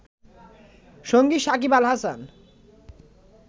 সঙ্গী সাকিব আল হাসান